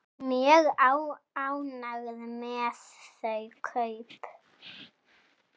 Mjög ánægð með þau kaup.